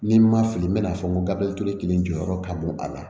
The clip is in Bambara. N'i ma fili n bɛ n'a fɔ n ko gafe kelen jɔyɔrɔ ka bon a la